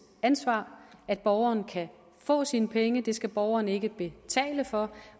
ansvar at borgeren kan få sine penge det skal borgeren ikke betale for